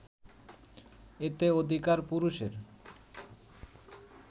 এতে অধিকার পুরুষের